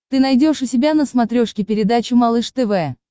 ты найдешь у себя на смотрешке передачу малыш тв